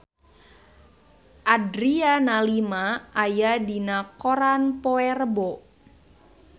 Adriana Lima aya dina koran poe Rebo